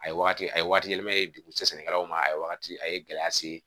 A ye wagati a ye waati yɛlɛma dogo se sɛnɛkɛlaw ma a ye wagati a ye gɛlɛya se